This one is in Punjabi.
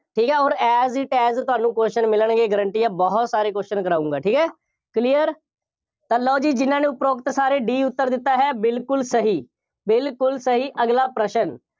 ਠੀਕ ਹੈ। ਹੁਣ as it as ਤੁਹਾਨੂੰ question ਮਿਲਣਗੇ। guarantee ਹੈ ਬਹੁਤ ਸਾਰੇ question ਕਰਾਊਂਗਾ, ਠੀਕ ਹੈ, clear ਤਾਂ ਲਓ ਜੀ, ਜਿੰਨ੍ਹਾ ਨੂੰ ਉਪਰੋਕਤ ਸਾਰੇ D ਉੱਤਰ ਦਿੱਤਾ ਹੈ, ਬਿਲਕੁੱਲ ਸਹੀ, ਬਿਲਕੁੁੱਲ ਸਹੀ, ਅਗਲਾ ਪ੍ਰਸ਼ਨ।